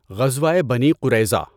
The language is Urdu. غزوۂ بنی قُرَیظَہ